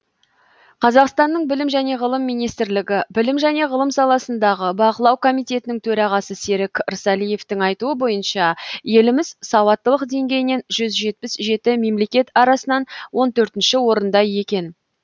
қазақстанның білім және ғылым министрлігі білім және ғылым саласындағы бақылау комитетінің төрағасы серік ырсалиевтің айтуы бойынша еліміз сауаттылық деңгейінен жүз жетпіс жеті мемлекет арасынан он төртінші орында екен